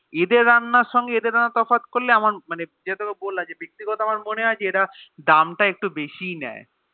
এদের রান্নার সাথে এদের রান্নার তফাৎ করলে মানে যেটা তোকে বললাম মানে ব্যক্তিগতভাবে আমার মনেহয় যে এরা দাম তা একটু বেশি এ নেয়